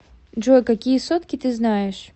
джой какие сотки ты знаешь